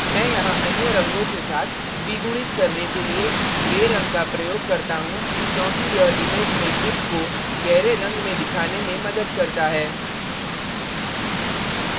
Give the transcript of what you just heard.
मैं यहाँ अन्य रंगों के साथ द्विगुणित करने के लिए gray रंग का प्रयोग करता हूँ क्योंकि यह image में ship को gray रंग में दिखाने में मदद करता है